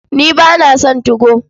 Ni ba na son 2go.